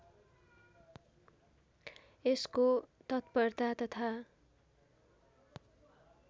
यसको तत्परता तथा